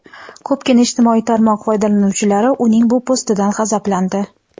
Ko‘pgina ijtimoiy tarmoq foydalanuvchilari uning bu postidan g‘azablandi.